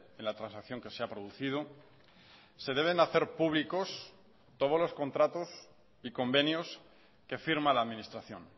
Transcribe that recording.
en la transacción que se ha producido se deben hacer públicos todos los contratos y convenios que firma la administración